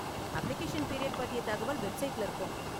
Application period பத்திய தகவல் வெப்சைட்ல இருக்கும்.